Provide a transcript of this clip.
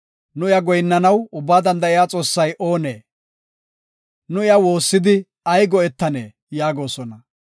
“Nu iya goyinnanaw Ubbaa Danda7iya Xoossay oonee? Nu iya woossidi ay go7etanee?” yaagosona.